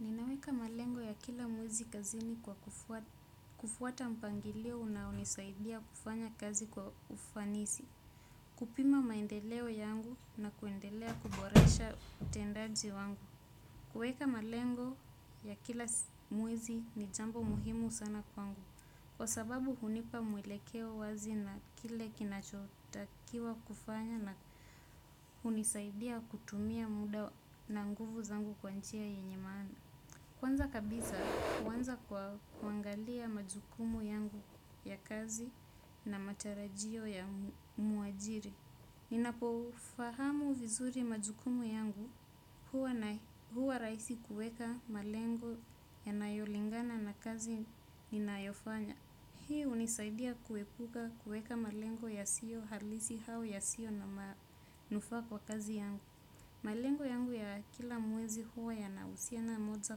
Ninaweka malengo ya kila mwezi kazini kwa kufuata mpangilio unaonisaidia kufanya kazi kwa ufanisi. Kupima maendeleo yangu na kuendelea kuborasha utendaji wangu. Kueka malengo ya kila mwezi ni jambo muhimu sana kwangu. Kwa sababu hunipa mwelekeo wazi na kile kinachotakiwa kufanya na hunisaidia kutumia muda na nguvu zangu kwa njia yenye maana. Kwanza kabisa, kuanza kwa kuangalia majukumu yangu ya kazi na matarajio ya mwajiri. Ninapofahamu vizuri majukumu yangu huwa rahisi kuweka malengo yanayolingana na kazi ninayofanya. Hii hunisaidia kuepuka kuweka malengo ya siyo halisi au yasiyo manufaa kwa kazi yangu. Malengo yangu ya kila mwezi huwa ya nahusiana moja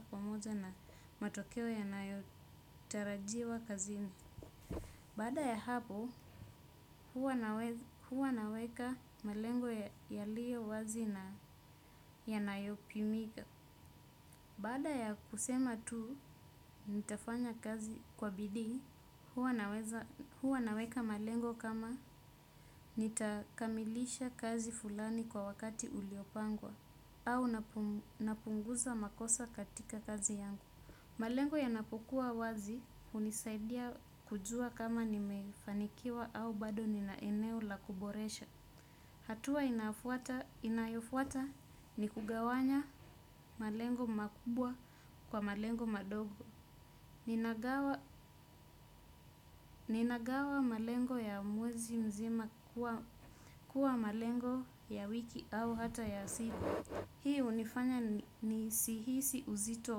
kwa moja na matokeo ya nayotarajiwa kazini. Baada ya hapo, huwa naweka malengo ya liyo wazi na yanayopimika. Baada ya kusema tu, nitafanya kazi kwa bidii, huwa naweka malengo kama nitakamilisha kazi fulani kwa wakati uliopangwa. Au napunguza makosa katika kazi yangu. Malengo yanapokuwa wazi hunisaidia kujua kama nimefanikiwa au bado nina eneo la kuboresha. Hatua inayofuata ni kugawanya malengo makubwa kwa malengo madogo. Ninagawa malengo ya mwezi mzima kuwa malengo ya wiki au hata ya siku. Hii hunifanya nisi hisi uzito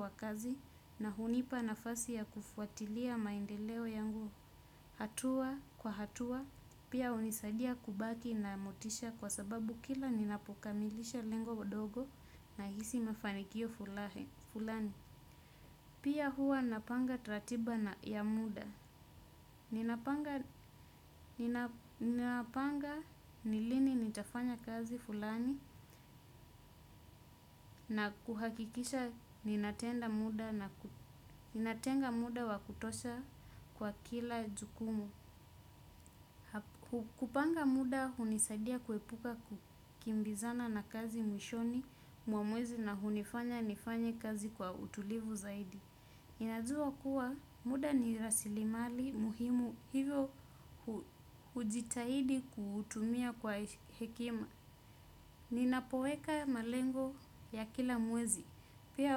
wa kazi na hunipa na fasi ya kufuatilia maendeleo yangu hatua kwa hatua pia hunisadia kubaki na motisha kwa sababu kila ninapokamilisha lengo dogo nahisi mafanikio fulani. Pia huwa napanga ratiba ya muda. Ninapanga ni lini nitafanya kazi fulani na kuhakikisha ninatenga muda wa kutosha kwa kila jukumu kupanga muda hunisaidia kuepuka kukimbizana na kazi mwishoni wa mwezi na hunifanya nifanye kazi kwa utulivu zaidi. Inazua kuwa muda ni rasilimali muhimu hivyo ujitahidi kutumia kwa hekima. Ninapoweka malengo ya kila mwezi. Pia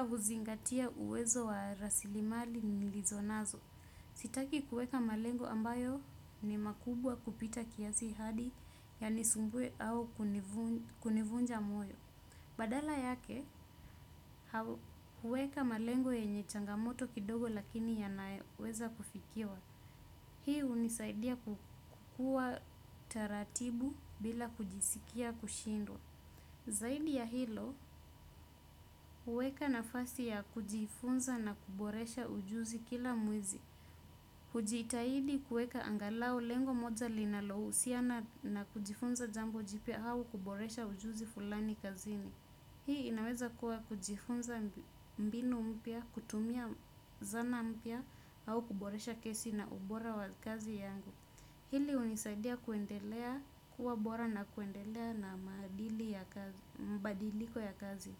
huzingatia uwezo wa rasilimali nilizo nazo. Sitaki kuweka malengo ambayo ni makubwa kupita kiasi hadi yanisumbue au kunivunja moyo. Badala yake, huweka malengo yenye changamoto kidogo lakini yanaeweza kufikiwa. Hii hunisaidia kukuwa taratibu bila kujisikia kushindwa. Zaidi ya hilo, huweka na fasi ya kujifunza na kuboresha ujuzi kila mwezi. Hujitahidi kuweka angalau lengo moja linalohusiana na kujifunza jambo jipya au kuboresha ujuzi kazini. Hii inaweza kuwa kujifunza mbinu mpya, kutumia zana mpya, au kuboresha kesi na ubora wa kazi yangu. Hili hunisaidia kuendelea kuwa bora na kuendelea na mabadiliko ya kazi.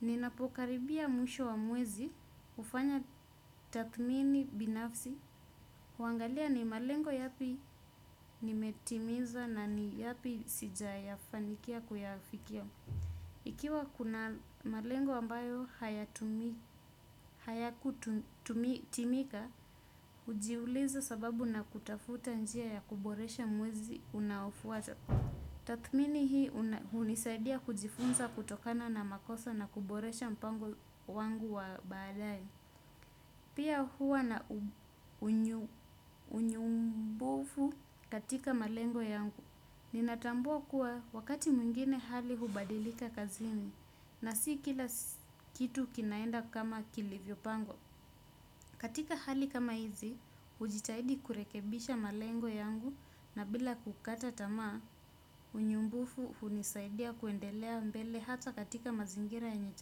Ninapokaribia mwisho wa mwezi, hufanya tathmini binafsi, huangalia ni malengo yapi nimetimiza na ni yapi sijayafanikia kuyafikia. Ikiwa kuna malengo ambayo hayakutimika, hujiuliza sababu na kutafuta njia ya kuboresha mwezi unaofuata. Tathmini hii hunisaidia kujifunza kutokana na makosa na kuboresha mpango wangu wa baadaye. Pia huwa na unyumbufu katika malengo yangu. Ninatambua kuwa wakati mwingine hali hubadilika kazini na si kila kitu kinaenda kama kilivyo pangwa. Katika hali kama hizi, hujitahidi kurekebisha malengo yangu na bila kukata tamaa, unyumbufu hunisaidia kuendelea mbele hata katika mazingira yenye.